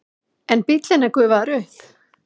En bíllinn er gufaður upp.